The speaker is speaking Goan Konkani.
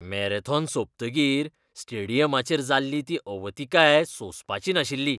मॅरॅथॉन सोंपतकीर स्टेडियमाची जाल्ली ती अवतिकाय सोंसपाची नाशिल्ली.